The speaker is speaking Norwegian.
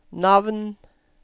navn